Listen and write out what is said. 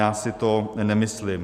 Já si to nemyslím.